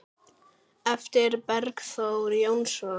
eftir Bergþór Jónsson